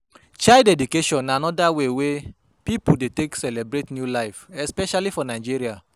Child dedication na anoda wey wey pipo take dey celebrate new life especially for Nigeria